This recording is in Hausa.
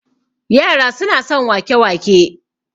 yara suna son wake- wake